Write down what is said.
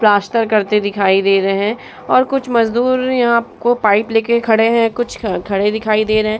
Plaster करते दिखाई दे रहे है और कुछ मजदुर यहाँ आपको पाइप लेके खड़े है कुछ ख-खड़े दिखाई दे रहे है।